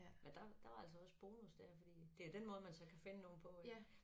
Men der der var altså også bonus der fordi det jo den måde man så kan finde nogen på ik